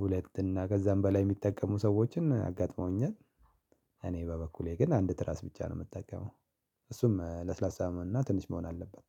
ሁለት እና ከዛም በላይ የሚጠቀሙ ሰወችን አጋጥመውኛል። እኔ በበኩሌ ግን አንድ ትራስ ብቻ ነው የምጠቀመው። እሱም ለስላሳ እና ትንሽ መሆን አለበት